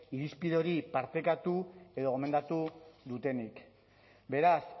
irizpide hori partekatu edo gomendatu dutenik beraz